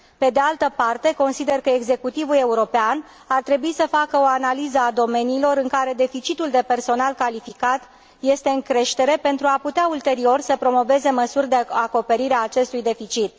Pe de altă parte, consider că executivul european ar trebui să facă o analiză a domeniilor în care deficitul de personal calificat este în creștere, pentru a putea ulterior să promoveze măsuri de acoperire a acestui deficit.